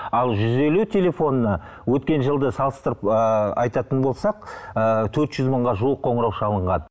ал жүз елу телефонына өткен жылды салыстырып ыыы айтатын болсақ ыыы төрт жүз мыңға жуық қоңырау шалынған